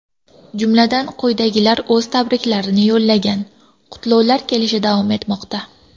Jumladan, quyidagilar o‘z tabriklarini yo‘llagan: Qutlovlar kelishi davom etmoqda.